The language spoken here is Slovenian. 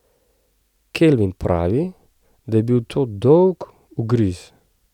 Kelvin pravi, da je bil to dolg ugriz.